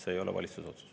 See ei ole valitsuse otsus.